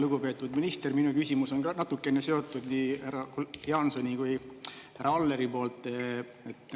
Lugupeetud minister, minu küsimus on natuke seotud nii Jaansoni kui härra Alleri poolt.